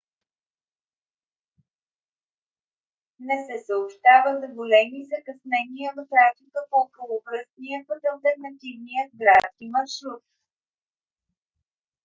не се съобщава за големи закъснения в трафика по околовръстния път - алтернативният градски маршрут